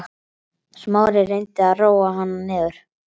Smári reyndi að róa hana niður.